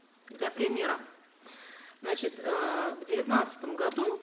для примера значит э в девятнадцатом году